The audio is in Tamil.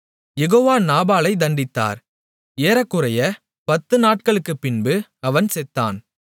யெகோவா நாபாலைத் தண்டித்தார் ஏறக்குறைய பத்து நாட்களுக்குப்பின்பு அவன் செத்தான்